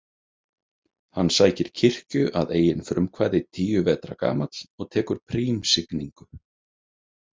Hann sækir kirkju að eigin frumkvæði tíu vetra gamall og tekur prímsigningu.